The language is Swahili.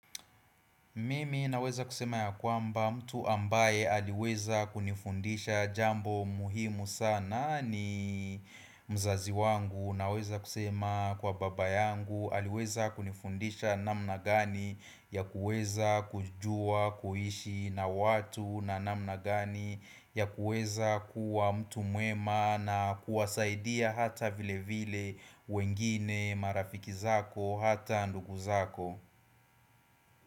Mimi naweza kusema ya kwamba mtu ambaye aliweza kunifundisha jambo muhimu sana ni mzazi wangu naweza kusema kwa baba yangu aliweza kunifundisha namna gani ya kuweza kujua kuishi na watu na namna gani ya kuweza kuwa mtu mwema na kuwasaidia hata vile vile wengine marafiki zako hata ndugu zako.